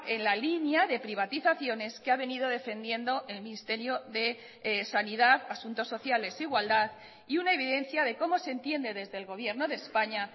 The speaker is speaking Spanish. en la línea de privatizaciones que ha venido defendiendo el ministerio de sanidad asuntos sociales igualdad y una evidencia de cómo se entiende desde el gobierno de españa